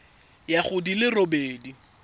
ya go di le robedi